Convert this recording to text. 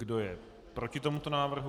Kdo je proti tomuto návrhu?